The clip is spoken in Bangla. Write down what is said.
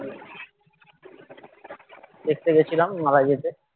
দেখতে গেছিলাম .